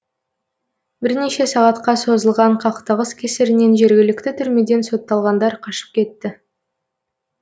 бірнеше сағатқа созылған қақтығыс кесірінен жергілікті түрмеден сотталғандар қашып кетті